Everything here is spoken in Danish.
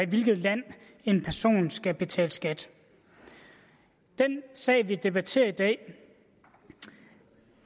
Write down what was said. hvilket land en person skal betale skat den sag vi debatterer i dag